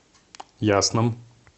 ясном